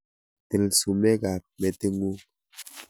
Til sumekab meting'ung'.